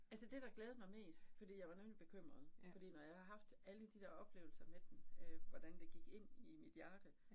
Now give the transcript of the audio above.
Altså det der glædede mig mest, fordi jeg var nemlig bekymret. Fordi når jeg har haft alle de der oplevelser med den øh, hvordan det gik ind i mit hjerte